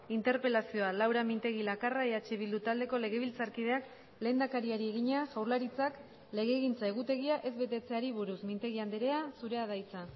interpelazioa laura mintegi lakarra eh bildu taldeko legebiltzarkideak lehendakariari egina jaurlaritzak legegintza egutegia ez betetzeari buruz mintegi andrea zurea da hitza